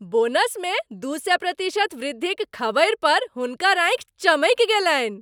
बोनसमे दू सए प्रतिशत वृद्धिक खबरि पर हुनकर आँखि चमकि गेलनि।